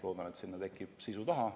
Loodan, et sinna tekib ka sisu taha.